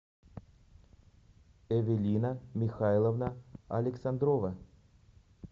эвелина михайловна александрова